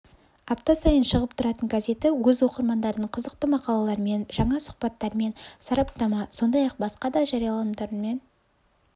апта сайын шығып тұратын газеті өз оқырмандарын қызықты мақалалармен жаңа сұхбаттармен сараптама сондай-ақ басқа да жарияланымдармен